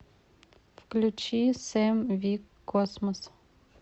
включи сэм вик космос